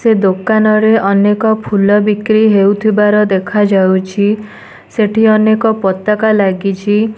ସେ ଦୋକାନ ରେ। ଅନେକ ଫୁଲ ବିକ୍ରି ହେଉଥିବାର ଦେଖାଯାଉଛି ସେଠି ଅନେକ ପତାକା ଲାଗିଛି।